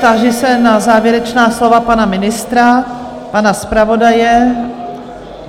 Táži se na závěrečná slova pana ministra, pana zpravodaje?